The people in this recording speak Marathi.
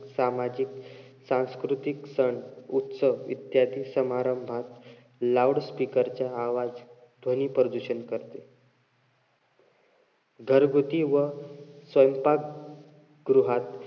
सामाजिक, सांस्कृतिक सण-उत्सव इत्यादी समारंभात loudspeaker च्या आवाज ध्वनी प्रदूषण करते. घरगुती व स्वयंपाक गृहात,